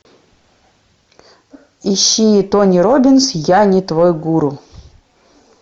ищи тони роббинс я не твой гуру